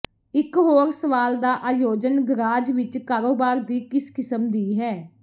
ਇਕ ਹੋਰ ਸਵਾਲ ਦਾ ਆਯੋਜਨ ਗਰਾਜ ਵਿੱਚ ਕਾਰੋਬਾਰ ਦੀ ਕਿਸ ਕਿਸਮ ਦੀ ਹੈ